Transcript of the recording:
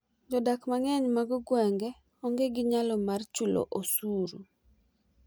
jodak mang'eny mag gwenge onge g nyalo mar chulo osuru